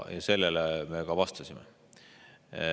Sellele pöördumisele me vastasime.